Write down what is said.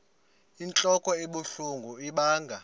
inentlok ebuhlungu ibanga